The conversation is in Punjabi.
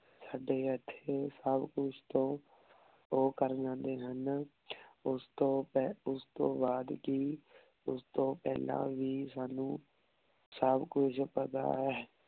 ਸਾਡੇ ਏਥੇ ਸਬ ਕੁਛ ਤੋਂ ਊ ਕਰ ਜਾਂਦੇ ਹਨ ਓਸ ਤੋਂ ਓਸ ਤੋਂ ਬਾਅਦ ਹੀ ਓਸ ਤੋਂ ਪੇਹ੍ਲਾਂ ਵੀ ਸਾਨੂ ਸਬ ਕੁਛ ਪਤਾ ਹੈ।